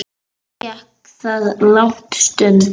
Þannig gekk það langa stund.